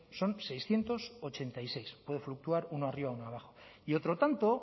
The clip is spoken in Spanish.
son seiscientos ochenta y seis puede fluctuar uno arriba uno abajo y otro tanto